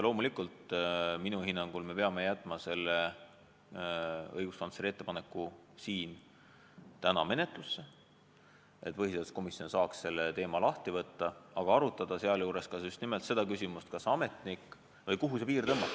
Loomulikult, minu hinnangul me peame jätma õiguskantsleri ettepaneku täna menetlusse, et põhiseaduskomisjon saaks selle teema lahti võtta, aga arutada sealjuures ka just nimelt seda küsimust, kuhu see piir tõmmata.